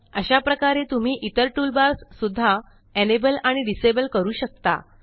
अशाप्रकारे तुम्ही इतर टूलबार्स सुद्धा एनेबल आणि डिसेबल करू शकता